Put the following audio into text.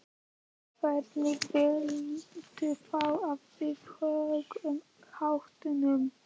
Hvernig viltu þá að við högum háttunum?